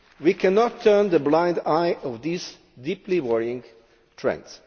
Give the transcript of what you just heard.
We cannot turn a blind eye to these deeply worrying trends.